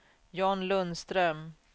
John Lundström